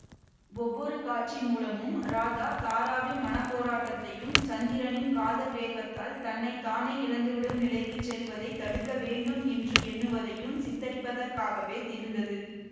ஒவ்வொரு காட்சி மூலமும் ராதா தாராவின் மன போராட்டத்தையும் சந்திரனின் காதல் வேகத்தால் தன்னை தானே இழந்துவிடும் நிலைக்கு செல்வதை தடுக்கவேண்டும் என்று எண்ணுவதையும் சித்தரிப்பதாகவே இருந்தது